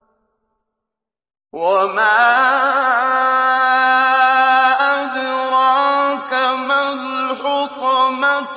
وَمَا أَدْرَاكَ مَا الْحُطَمَةُ